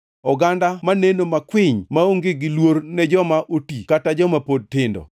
oganda maneno makwiny maonge gi luor ne joma oti kata joma pod tindo.